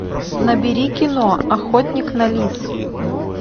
набери кино охотник на лис